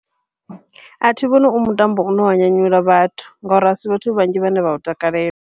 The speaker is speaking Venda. Athi vhoni u mutambo une wa nyanyula vhathu, ngauri asi vhathu vhanzhi vhane vha u takalela.